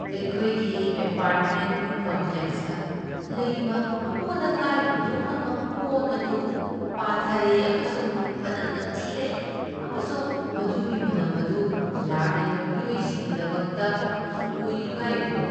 ꯑꯩꯈꯣꯏꯒꯤ ꯑꯦꯄꯥꯔꯠꯃꯦꯟꯠ ꯀꯝꯄ꯭ꯂꯦꯛꯁꯇ ꯂꯩꯕ ꯑꯃꯣꯠ ꯑꯀꯥꯏ ꯍꯨꯟꯗꯣꯛꯅꯕ ꯀꯣꯟ ꯑꯗꯨ ꯄꯥꯊꯔꯦ ꯑꯃꯁꯨꯡ ꯃꯅꯝ ꯅꯝꯊꯤꯔꯦ ꯑꯃꯁꯨꯡ ꯃꯗꯨꯒꯤ ꯃꯅꯝ ꯑꯗꯨ ꯂꯥꯛꯂꯤꯕ ꯃꯤꯑꯣꯏꯁꯤꯡꯒꯤꯗꯃꯛꯇ ꯍꯪꯒꯣꯏꯅꯤꯡꯉꯥꯏ ꯑꯣꯏ꯫